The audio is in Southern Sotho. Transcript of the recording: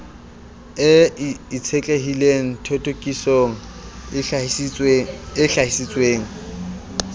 e itshetlehileng thothokisong e hlahisitsweng